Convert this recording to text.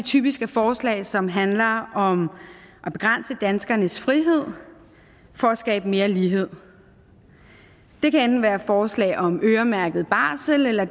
typisk er forslag som handler om at begrænse danskernes frihed for at skabe mere lighed det kan enten være forslag om øremærket barsel eller